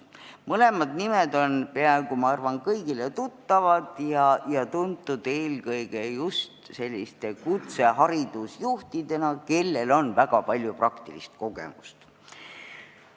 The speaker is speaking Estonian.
Ma arvan, et mõlemad nimed on peaaegu kõigile tuttavad, need inimesed on tuntud eelkõige selliste kutseharidusjuhtidena, kellel on väga palju praktilist kogemust.